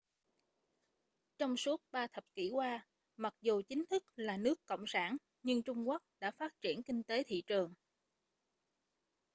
trong suốt ba thập kỷ qua mặc dù chính thức là nước cộng sản nhưng trung quốc đã phát triển kinh tế thị trường